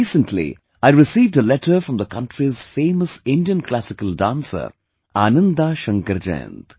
Recently I received a letter from the country's famous Indian classical dancer Ananda Shankar Jayant